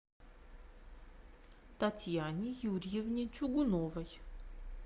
татьяне юрьевне чугуновой